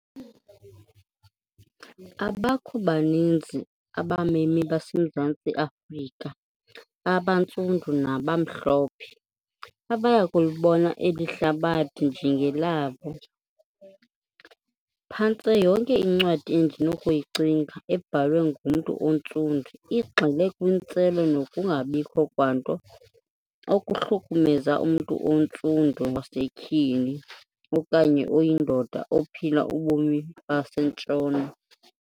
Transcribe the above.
Abakho baninzi abamemi baseMzantsi Afrika, abantsundu nabamhlophe, abayakulibona eli hlabathi njengelabo. Phantse yonke incwadi endinokuyicinga, ebhalwe ngumntu ontsundu, igxile kwintselo nokungabikho kwanto okuhlukumeza umntu ontsundu wasetyhini okanye oyindoda ophila ubomi baseNtshona.